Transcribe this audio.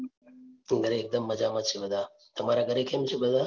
ઘરે એકદમ મજામાં છે બધા, તમારા ઘરે કેમ છે બધા?